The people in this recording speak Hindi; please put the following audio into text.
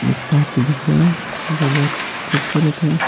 एक पार्क दिख रहा है जो बहुत खूबसूरत है।